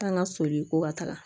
Taa ŋa soli ko ka taga